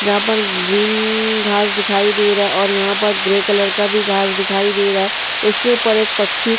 जहां पर ग्रीन घास दिखाई दे रहा है और यहाँ पर ग्रे कलर का भी घास दिखाई दे रहा है। उसके ऊपर एक पक्षी --